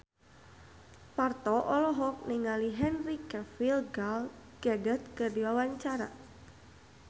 Parto olohok ningali Henry Cavill Gal Gadot keur diwawancara